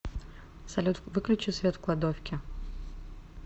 салют выключи свет в кладовке